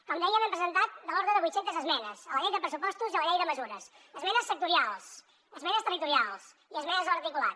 com dèiem hem presentat de l’ordre de vuit centes esmenes a la llei de pressupostos i a la llei de mesures esmenes sectorials esmenes territorials i esmenes a l’articulat